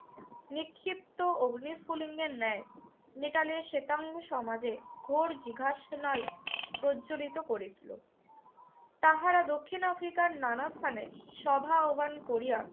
নিক্ষিপ্ত অগ্নিস্ফুলিংগের ন্যায় নেটালের শেতাঙ্গ সমাজে ঘোর জিগাশনাল প্রজ্জ্বোলিত করেছিল। তাহারা দক্ষিণ আফ্রিকার নানা স্থানে সভা আহ্বান করিয়া